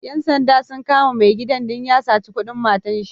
Ƴan sanda sun kama mai gidan don ya sata kudin matanshi.